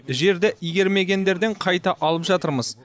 жерді игермегендерден қайта алып жатырмыз